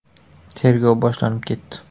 Tergov boshlanib ketdi.